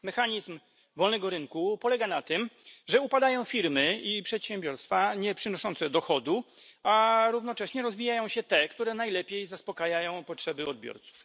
Mechanizm wolnego rynku polega na tym, że upadają firmy i przedsiębiorstwa nieprzynoszące dochodu, a równocześnie rozwijają się te, które najlepiej zaspokajają potrzeby odbiorców.